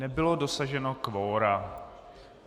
Nebylo dosaženo kvora.